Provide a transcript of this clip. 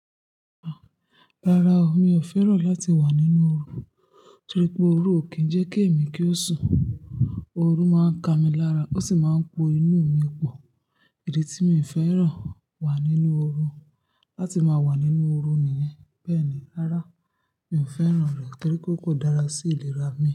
Rárá o, mi ò fẹ́ràn láti wà nínú oru torí pé oru ò kí ń jẹ́ kí èmi kí ó sùn. Oru máa ń ka mi lára ó sì máa ń po inú mi pọ̀. Èdè tí mi fẹ́ràn wà nínú oru. Láti máa wà nínú oru nìyẹn. Bẹ́ẹ̀ni, rárá, mi ò fẹ́ràn rẹ̀ torí pé kò dára sí ìlera mi.